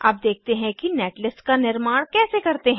अब देखते हैं कि नेटलिस्ट का निर्माण कैसे करते हैं